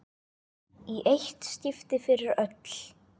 Í eitt skipti fyrir öll!